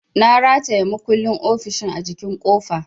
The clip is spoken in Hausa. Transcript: Na rataya makullin ofishin a jikin kofa.